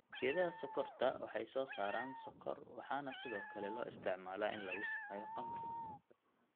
Geedaha sonkorta waxay soosaaraan sonkor waxaana sidookale loo isticmaalaa in lagu sameeyo khamri.